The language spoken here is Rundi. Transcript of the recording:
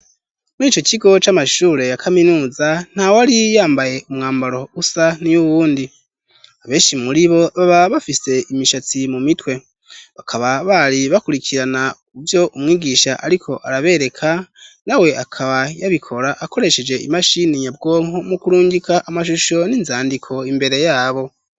Mur'ico kigo c'amashure ya kaminuza, ntawari yambaye umwambaro usa niy'uwundi, abenshi muribo, baba bafise imishatsi mu mitwe, bakaba bari bakurikirana ivyo umwigisha ariko arabereka, nawe akaba yabikora akoresheje imashini nyabwonko, mu kurungika amashusho n'inzandiko imbere yabo.